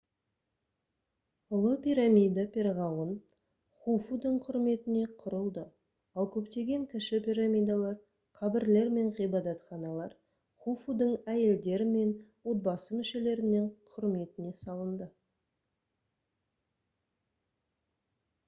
ұлы пирамида перғауын хуфудың құрметіне құрылды ал көптеген кіші пирамидалар қабірлер мен ғибадатханалар хуфудың әйелдері мен отбасы мүшелерінің құрметіне салынды